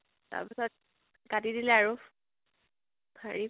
তাৰ পাছত কাটি দিলে আৰু হেৰি ।